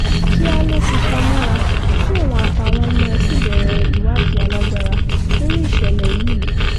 kíá ló ti ta mọ́ra tí òun àtàwọn ọmọ ẹ̀ sì bẹ̀rẹ̀ ìwádìí alágbára lórí ìṣẹ̀lẹ̀ yìí